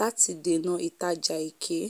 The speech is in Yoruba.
láti dènà ìtajà èké